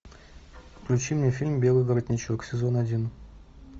включи мне фильм белый воротничок сезон один